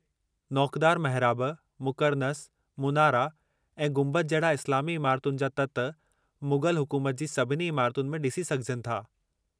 नौकदारु महिराब, मुकर्नस, मुनारा ऐं गुंबद जहिड़ा इस्लामी इमारतुनि जा ततु मुग़ल हुकूमत जी सभिनी इमारतुनि में ॾिसी सघिजनि था।